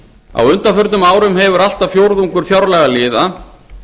á undanförnum árum hefur allt að fjórðungur fjárlagaliða